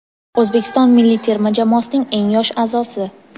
O‘zbekiston milliy terma jamoasining eng yosh aʼzosi.